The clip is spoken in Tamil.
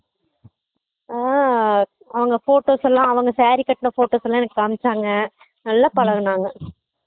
ஆஹ் அவங்க photos எல்லாம் அவங்க saree கட்டுனா photos எல்லாம் எனக்கு காமிச்சாங்க நல்லா பழகுனாங்க